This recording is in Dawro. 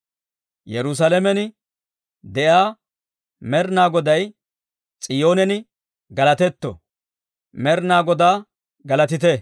Yerusaalamen de'iyaa Med'inaa Goday S'iyoonen galatetto! Med'inaa Godaa galatite!